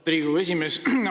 Hea Riigikogu esimees!